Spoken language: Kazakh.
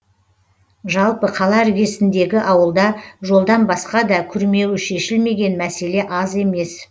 жалпы қала іргесіндегі ауылда жолдан басқа да күрмеуі шешілмеген мәселе аз емес